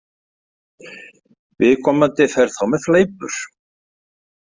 Viðkomandi fer þá með fleipur.